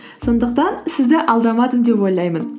сондықтан сізді алдамадым деп ойлаймын